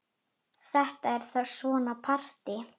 Þetta er þá svona partí!